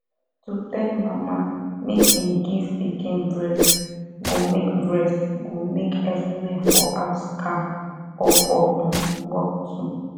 to tell mama make im give pikin breast go make breast go make everywhere for house calm or for um work too